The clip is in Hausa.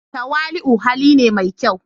Tawali'u hali ne mai kyau.